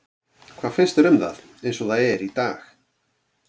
Hvað finnst þér um það eins og það er í dag?